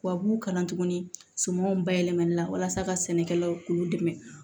Tubabuw kalan tuguni sumanw bayɛlɛmali la walasa ka sɛnɛkɛlaw k'u dɛmɛ